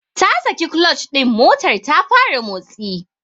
Ta saki clutch din motar ta fara motsi.